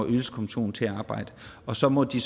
ydelseskommission til at arbejde og så må de